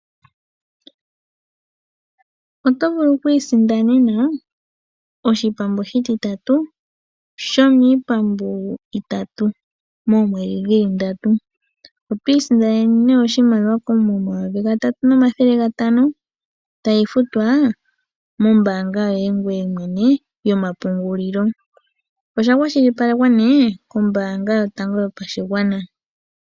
Otovulu okwisindanena oshipambu oshiti tatu shomiipambu itatu moomwedhi dhili ndatu. Otwiisindanene née oshimaliwa shoye koomuma sho N$3500 tayifutwa mombanga yoye mwene yomapungulilo, oshaka shilipalekwa kombanga yotango yopashingwana.